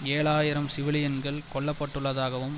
ஏழு ஆயிரம் சிவிலியன்கள் கொல்ல பட்டுள்ளதாகவும்